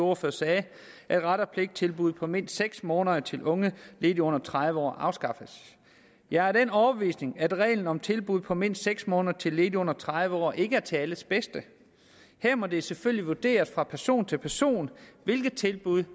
ordfører sagde at ret og pligt til tilbud på mindst seks måneder til unge ledige under tredive år afskaffes jeg er af den overbevisning at reglen om tilbud på mindst seks måneder til ledige under tredive år ikke er til alles bedste her må det selvfølgelig vurderes fra person til person hvilket tilbud